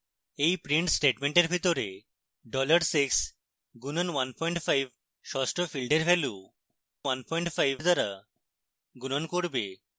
এই print স্টেটমেন্টের ভিতরে $6 গুনন 15 ষষ্ঠ ফীল্ডের value 15 দ্বারা গুণন করবে